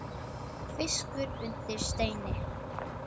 Fiskur undir steini.